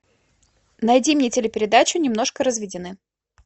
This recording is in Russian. найди мне телепередачу немножко разведены